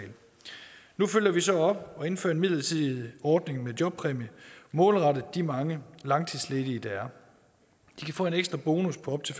nu følger vi så op og indfører en midlertidig ordning med jobpræmie målrettet de mange langtidsledige der er de kan få en ekstra bonus på op til